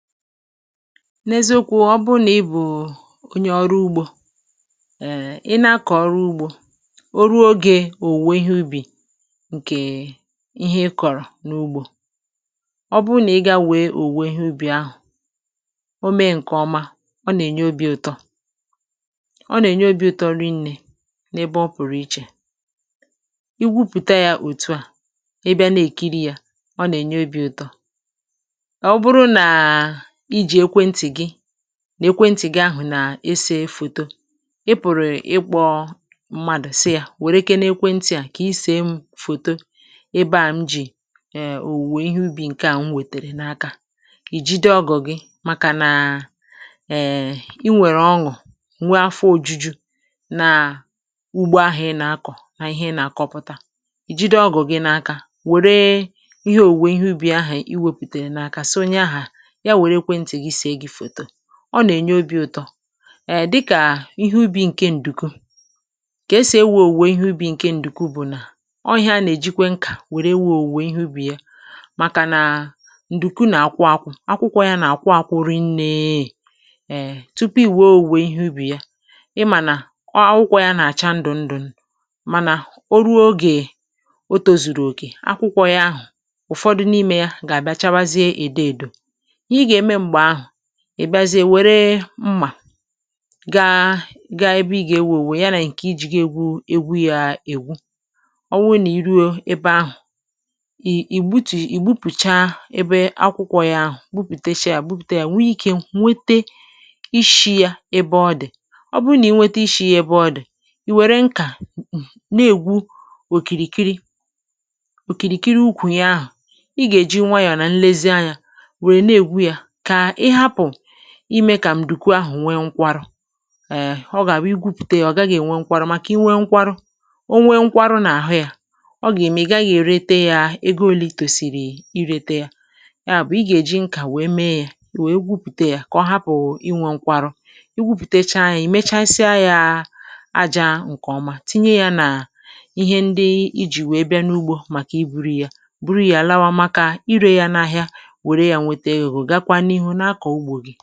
N’eziokwu ọ bụ na ị bụ̀ onye ọrụ ugbȯ[um], Ị̀ na-akọ̀ ọrụ ugbȯ o ruo ogė òwùwe ihe ubì ǹkè ihe ị kọ̀rọ̀ n’ugbȯ; ọ bụụ nà ị gaa wee òwùwe ihe ubì ahụ̀ o mee ǹkè ọma ọ nà-ènye obi̇ ụtọ, ọ nà-ènye obi̇ ụtọ rị ṅne n’ebe ọ pụ̀rụ̀ ichè. Ị́ gwupùta ya òtu à i bịa na-èkiri yȧ ọ nà-ènye obi̇ ụtọ.Ọ̀ bụrụ na iji ekwentì gị n’ekwentì gị̀ ahụ̀ nà-ese foto, i pụ̀rụ̀ ịkpọ mmadụ̀ sị yȧ wère kénè ekwentì a kà ise mụ foto ebe à m jì è òwùwe ihe ubì nkè à m wètèrè n’akȧ; ì jide ọgụ̀ gị màkà nà è ị nwèrè ọṅụ̀ nwe afọ òjuju na ugbȯ ahụ̀ ị nà-akọ̀ nà ihe ị́ nà-àkọpụta. ì jide ọgụ̀ gị̇ n’akȧ wère ihe òwùwe ihe ubì ahụ̀ iwepùtèrè n’akȧ sị onye ahụ̀ yà were ekwentì gị sèè gị foto, ọ nà-ènye obi̇ ụtọ. È dịkà ihe ubi̇ ǹke ǹdùku, kà esì ewė òwùwò ihe ubi̇ ǹke ǹdùku bụ̀ nà ọ ihe a nà-èjikwe nkà wère wèe òwùwò ihe ubi̇ ya ;màkà nà ǹdùku nà-àkwụ akwụ akwụkwọ yȧ nà-àkwụ akwụ ri̇ nneė, e tupu ị̀ wèe òwùwò ihe ubì ya; ịmà nà ọ akwụkwọ yȧ nà-àcha ndụ̀ ndụ̀ ndụ̀ mànà o ruo ogè oto zùrù òkè akwụkwọ yȧ ahụ̀ ụ̀fọdụ n’imė yȧ gà-àbịa chawaziė èdo èdò. Ị́he ị́ ga émè mgbe ahụ, ì bịazie wère mmà gaa gaa ebe ị gà-ewùo owo ya nà ǹkè ijiga egwu̇ ègwu ya ègwu, ọ wụ nà i ruo ebe ahụ̀ ì Í gbutu ì gbupùcha ebe akwụkwọ ya ahụ̀ gbupùte shie ya gbupùte yà nwee ikė nwete ishi̇ ya ebe ọ dị̀; ọ bụụ nà i nwete ishi̇ ya ebe ọ dị̀, ì wère nkà um na-egwu òkìrìkiri òkìrìkiri ukwù ya ahụ̀ ị gà-èji nwayọ̀ nà nlezi anyȧ wérè na egwu ya kà ịhapụ ime kà m̀dùkwu ahụ̀ nwe nkwarụ. È ọ gà-àbụ igwupùte ya ọ̀ gàghi-ènwe nkwarụ, màkà inwe nkwarụ o nwe nkwarụ nà àhụ ya ọ gà-ème ị gàghi èrete ya ego ole ị́ tòsìrì ị́rete yà. Yà bụ̀ ị gà-èji nkà wee mee ya wee gwupùte ya kà ọ hapụ̀ inwė nkwarụ; i gwupùtecha ya i mechasịa ya aja ǹkèọma tinye ya nà ihe ndị ijì wee bịa n’ugbȯ màkà i buru ya, bụrụ ya làwa maka irė ya n’ahịa wère ya nwete ẹ́go gákwa n'ịhụ nà-àkọ̀ ugbȯ gị̇.